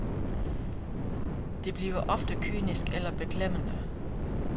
Det bliver ofte kynisk eller beklemmende.